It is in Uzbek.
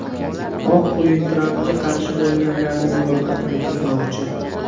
Oq uy Trampga qarshi bo‘lganlarning ro‘yxatini tuzmoqchi.